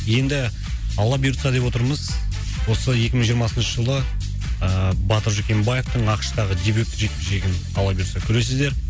енді алла бұйыртса деп отырмыз осы екі мың жиырмасыншы жылы ыыы батыр жүкембаевтың ақш тағы дебютті жекпе жегін алла бұйыртса көресіздер